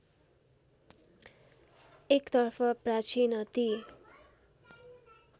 एकतर्फ प्राचीन अति